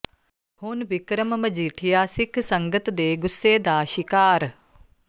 ਹੁਣ ਬਿਕਰਮ ਮਜੀਠੀਆ ਸਿੱਖ ਸੰਗਤ ਦੇ ਗੁੱਸੇ ਦਾ ਸ਼ਿਕਾਰ